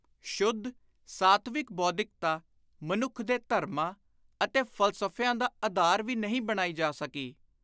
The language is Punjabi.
ਸ਼ੁੱਧ, ਸਾਤਵਿਕ ਬੌਧਿਕਤਾ ਮਨੁੱਖ ਦੇ ਧਰਮਾਂ ਅਤੇ ਫ਼ਲਸਫ਼ਿਆਂ ਦਾ ਆਧਾਰ ਵੀ ਨਹੀਂ ਬਣਾਈ ਜਾ ਸਕੀ।